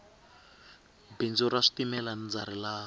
bindzu ra switimela ndza rilava